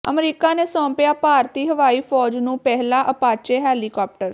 America ਨੇ ਸੌਂਪਿਆ ਭਾਰਤੀ ਹਵਾਈ ਫ਼ੌਜ ਨੂੰ ਪਹਿਲਾ ਅਪਾਚੇ ਹੈਲੀਕਾਪਟਰ